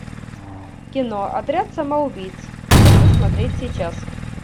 кино отряд самоубийц хочу смотреть сейчас